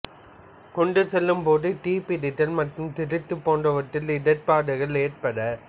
கொண்டு செல்லும் போது தீப்பிடித்தல் மற்றும் திருட்டு போன்றவற்றால் இடர்பாடுகள் ஏற்பட